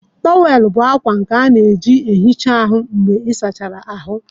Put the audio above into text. Tówel bụ akwa nke a na-eji na-ehicha ahụ mgbe ịsachara ahụ.